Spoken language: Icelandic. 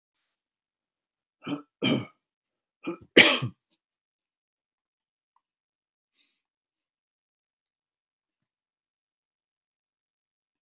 Bréf barst inn á skrifborð Christians konungs og lá þar í morgunsólinni.